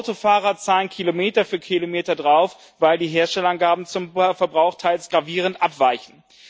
Autofahrer zahlen Kilometer für Kilometer drauf, weil die Herstellerangaben zum Verbrauch teils gravierend abweichen.